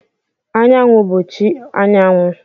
Anyanwu bụ chi anyanwụ.